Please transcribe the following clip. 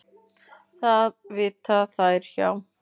Það vita þær hjá